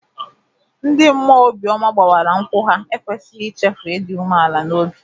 Ndị mmụọ obi ọma gbawara nkwụ ha ekwesịghị ichefu ịdị umeala n'obi.